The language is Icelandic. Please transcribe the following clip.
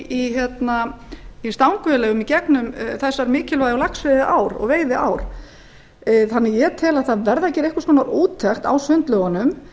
í stangaveiðileyfum í gegnum þessar mikilvægu laxveiðiár og aðrar veiðiár ég tel að það verði að gera einhvers konar úttekt á sundlaugunum